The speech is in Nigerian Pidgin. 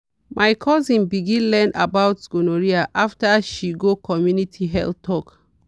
my cousin begin learn about gonorrhea after she go community health talk.